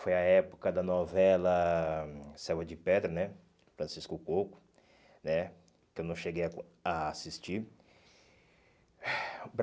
Foi a época da novela Selva de Pedra né, Francisco Coco né, que eu não cheguei a a assistir.